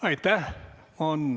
Aitäh!